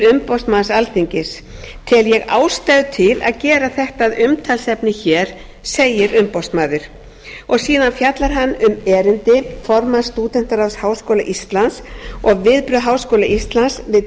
umboðsmanns alþingis tel ég ástæðu til að gera þetta að umtalsefni hér segir umboðsmaður síðan fjallar hann um erindi formanns stúdentaráðs háskóla íslands og viðbrögð háskóla íslands við tilmælum